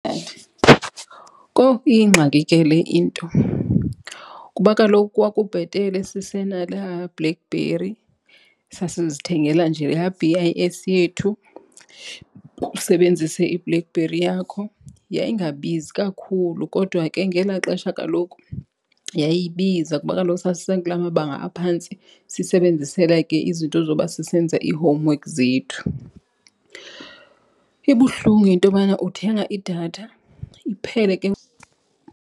Kowu, iyingxaki ke le into kuba kaloku kwakubhetele sisena laa Blackberry sasizithengela nje laa B_I_S yethu, usebenzise iBlackberry yakho. Yayingabizi kakhulu, kodwa ke ngelaa xesha kaloku yayibiza kuba kaloku sasisekula mabanga aphantsi, sisebenzisela ke izinto zoba sisenza ii-homework zethu. Ibuhlungu intobana uthenga idatha iphele .